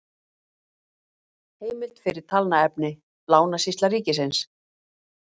Heimild fyrir talnaefni: Lánasýsla ríkisins